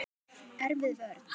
Erfið vörn.